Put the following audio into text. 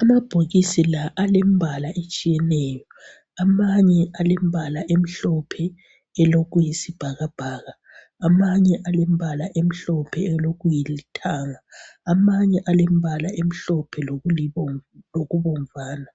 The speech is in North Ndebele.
amabhokisi lawa alembala etshiyeneyo amanye alembalo emhlophe elokuyisibhakabhaka amanye alembalo emhlophe lokulithanga amanye alembalo emhlophe lokubomvana.